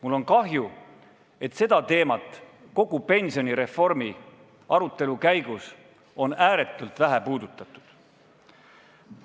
Mul on kahju, et seda teemat on kogu pensionireformi arutelu käigus ääretult vähe puudutatud.